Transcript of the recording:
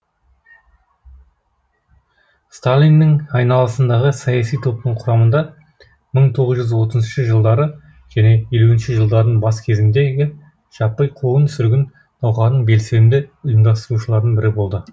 сталиннің айналасындағы саяси топтың құрамында мың тоғыз жүз отызыншы жылдары және елу жылдардың бас кезіндегі жаппай қуғын сүргін науқанын белсенді ұйымдастырушылардың бірі болды